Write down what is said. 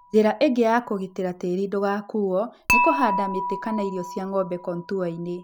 Njĩra ĩngĩ ya kũgitĩra tĩri ndũgakuo nĩ kũhanda mĩtĩ kana irio cia ng'ombe kontuainĩ.